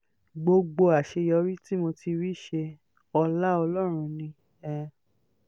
gbogbo àṣeyọrí tí mo ti rí ṣe ọlá ọlọ́run ni um